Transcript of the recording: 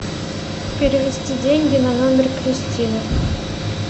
перевести деньги на номер кристины